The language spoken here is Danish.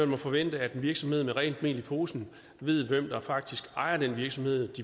må forvente at en virksomhed med rent mel i posen ved hvem der faktisk ejer den virksomhed